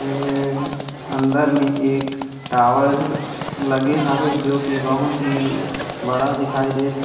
हूउउ अंदर में एक टावर लगे हावे जो की बहुत ही बड़ा दिखाई देत--